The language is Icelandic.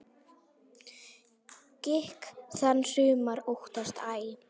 Gikk þann sumir óttast æ.